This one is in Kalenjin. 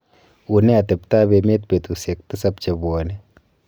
unee atebtab emet betusiek tisab chebwone